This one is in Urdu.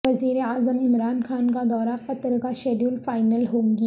وزیراعظم عمران خان کا دورہ قطر کا شیڈول فائنل ہوگی